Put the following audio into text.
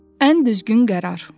Ən düzgün qərar.